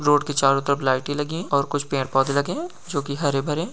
road के चारों तरफ लाइटे लगी और कुछ पेड़ पौधे लगे जो की हरे भरे--